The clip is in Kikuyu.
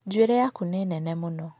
Njuĩrĩ yaku nĩ nene mũno.